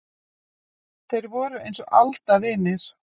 Þeir voru eins og aldavinir.